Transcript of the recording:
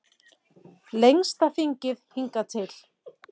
Lengsta þingið hingað til